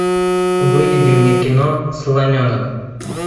выведи мне кино слоненок